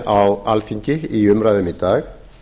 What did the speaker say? á alþingi í umræðum í dag